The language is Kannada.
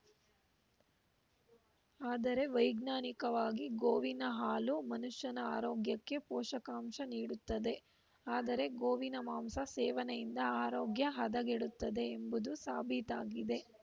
ಆದರೆ ವೈಜ್ಞಾನಿಕವಾಗಿ ಗೋವಿನ ಹಾಲು ಮನುಷ್ಯನ ಆರೋಗ್ಯಕ್ಕೆ ಪೋಷಕಾಂಶ ನೀಡುತ್ತದೆ ಆದರೆ ಗೋವಿನ ಮಾಂಸ ಸೇವನೆಯಿಂದ ಆರೋಗ್ಯ ಹದಗೆಡುತ್ತದೆ ಎಂಬುದು ಸಾಬೀತಾಗಿದೆ